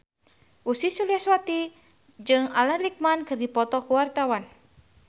Ussy Sulistyawati jeung Alan Rickman keur dipoto ku wartawan